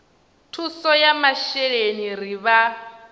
thuso ya masheleni ri vha